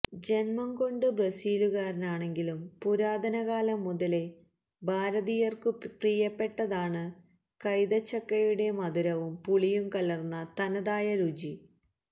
ജന്മം കൊണ്ട് ബ്രസീലുകാരനാണെങ്കിലും പുരാതനകാലം മുതലേ ഭാരതീയര്ക്കു പ്രിയപ്പെട്ടതാണ് കൈതച്ചക്കയുടെ മധുരവും പുളിയും കലര്ന്ന തനതായ രുചി